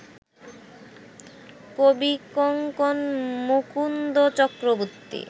Kavikankan Mukunda Chakraborty